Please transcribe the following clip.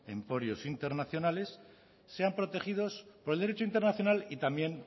emporios internacionales sean protegidos por el derecho internacional y también